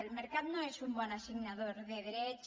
el mercat no és un bon assignador de drets